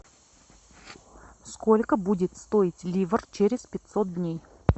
сколько будет стоить ливр через пятьсот дней